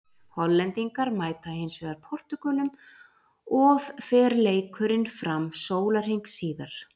Hollendingar mæta hinsvegar Portúgölum of fer leikurinn fram sólarhring síðar.